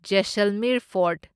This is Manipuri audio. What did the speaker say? ꯖꯦꯁꯜꯃꯤꯔ ꯐꯣꯔꯠ